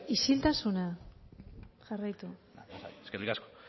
isiltasuna jarraitu eskerrik asko